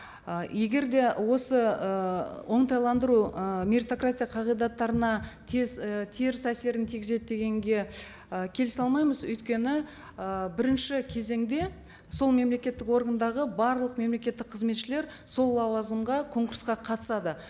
ы егер де осы ы оңтайландыру ы меритократия қағидаттарына теріс і теріс әсерін тигізеді дегенге ы келісе алмаймыз өйткені ы бірінші кезеңде сол мемлекеттік органдағы барлық мемлекеттік қызметшілер сол лауазымға конкурсқа қатысады